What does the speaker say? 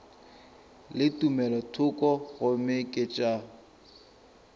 le tumelothoko gomme ke tša